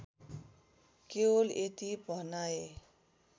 केवल यति भनाए